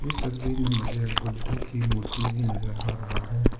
इस तस्वीर में मुझे बुद्ध की मूर्ति भी नजर आ रहा है।